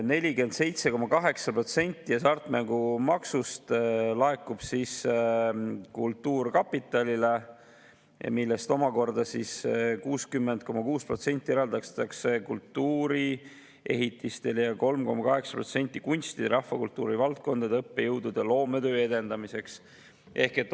47,8% hasartmängumaksust laekub kultuurkapitalile, millest omakorda 60,6% eraldatakse kultuuriehitistele ning 3,8% kunstide ja rahvakultuuri valdkondade õppejõudude loometöö edendamiseks.